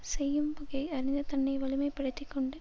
செய்யும் வகையை அறிந்து தன்னை வலிமைப்படுத்திக் கொண்டு